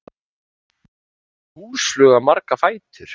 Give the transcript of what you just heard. Hvað hefur húsfluga marga fætur?